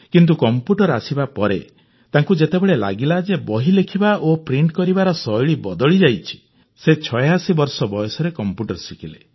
କିନ୍ତୁ କଂପ୍ୟୁଟର ଆସିବାପରେ ତାଙ୍କୁ ଯେତେବେଳେ ଲାଗିଲା ଯେ ବହି ଲେଖିବା ଓ ପ୍ରିଂଟ ହେବାର ଶୈଳୀ ବଦଳିଯାଇଛି ସେ 86 ବର୍ଷ ବୟସରେ କଂପ୍ୟୁଟର ଶିଖିଲେ